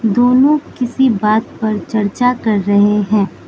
दोनों किसी बात पर चर्चा कर रहें हैं।